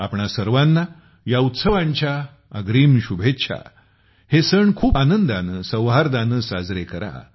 आपणां सर्वाना ह्या उत्सवांच्या अग्रिम शुभेच्छा हे सण खूप आनंदाने सौहार्दाने साजरे करा